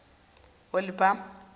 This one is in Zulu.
olibhama